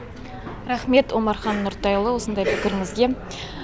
рахмет омархан нұртайұлы осындай пікіріңізге